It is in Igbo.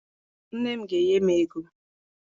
Nne m ga-enye m ego.